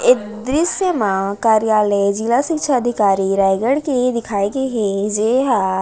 एक दृस्य म कार्यालय जिला शिक्षा अधिकारी रायगढ़ के दिखाए गे हे जेहा--